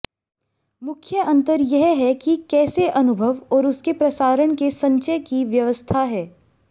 मुख्य अंतर यह है कि कैसे अनुभव और उसके प्रसारण के संचय की व्यवस्था है